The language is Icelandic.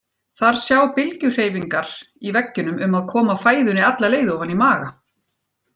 Þar sjá bylgjuhreyfingar í veggjunum um að koma fæðunni alla leið ofan í maga.